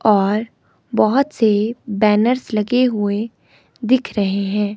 और बहोत से बैनर्स लगे हुए दिख रहे हैं।